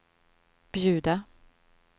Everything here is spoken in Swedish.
bjuda